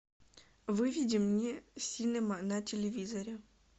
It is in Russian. выведи мне синема на телевизоре